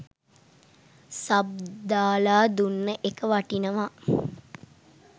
sub දාලා දුන්න එක වටිනවා